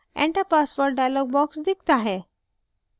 enter password dialog box दिखता है